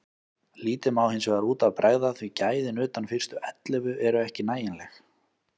Lítið má hinsvegar út af bregða því gæðin utan fyrstu ellefu eru ekki nægileg.